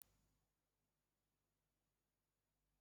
Tuface ọ ga-amụkwu ụmụ ozo?